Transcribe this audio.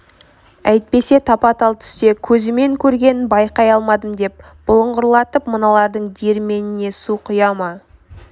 әйтпесе тапа-тал түсте көзімен көргенін байқай алмадым деп бұлыңғырлатып мыналардың диірменіне су құя ма